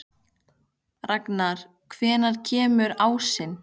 Ragnar, hvenær kemur ásinn?